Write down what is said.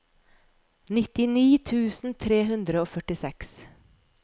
nittini tusen tre hundre og førtiseks